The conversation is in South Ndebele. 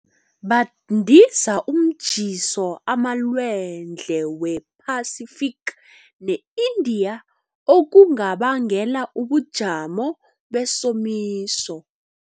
Bandisa umtjhiso emalwandle we-Pacific ne-Indian, okunga bangela ubujamo besomiso.